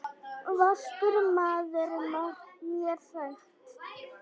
Vaskur maður er mér sagt.